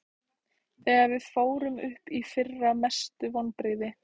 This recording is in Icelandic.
Þegar við fórum upp í fyrra Mestu vonbrigði?